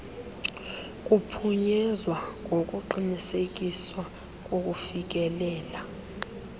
kuphunyezwa ngokuqinisekiswa kokufikelela